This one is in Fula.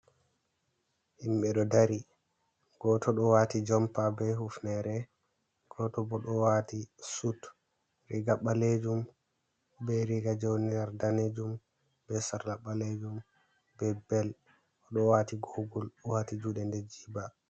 Himɓe ɗo dari. Goto ɗo wati jompa be hufnere.,goto bo ɗo wati sut, riga balejum be riga jei woni nder danejum, be sarla ɓalejum, be bel. O ɗo wati gogul O ɗo wati juɗe nder jiba.